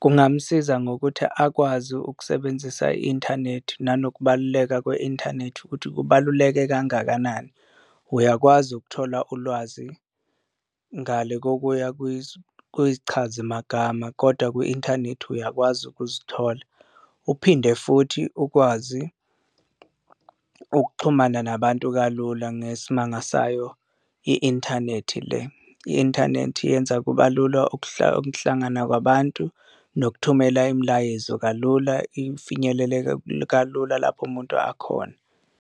kungamsiza ngokuthi akwazi ukusebenzisa i-inthanethi nanokubaluleka kwe-inthanethi ukuthi kubaluleke kangakanani, uyakwazi ukuthola ulwazi ngale kokuya kuyichazimagama kodwa kwi-inthanethi uyakwazi ukuzithola. Uphinde futhi ukwazi ukuxhumana nabantu kalula ngesimanga sayo i-inthanethi le, i-inthanethi yenza kuba lula ukuhlangana kwabantu, nokuthumela imilayezo kalula ifinyeleleke kalula lapho umuntu akhona.